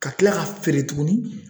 Ka kila k'a feere tuguni